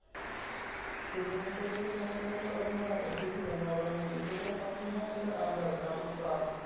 शिवसेनेच्या शिवसंपर्क अभियानात अशीही बनवाबनवी, यशोधर फणसेंना केलं आमदार चाबूकस्वार!